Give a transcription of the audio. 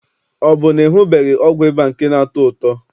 Ọ bụ na ị hụbeghị ọgwụ ịba nke na-atọ ụtọ?